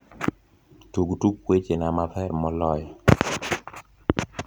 tug tuk weche na ma pher moloyo